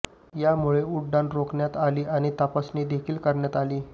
यामुळे उड्डाणं रोखण्यात आली आणि तपासणी देखील करण्यात आली